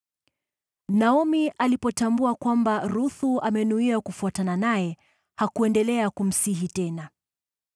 Naomi alipotambua kwamba Ruthu amenuia kufuatana naye, hakuendelea kumsihi tena.